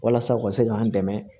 Walasa u ka se k'an dɛmɛ